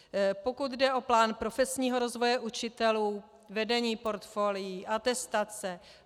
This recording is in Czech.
Pokud jde o plán profesního rozvoje učitelů, vedení portfolií, atestace...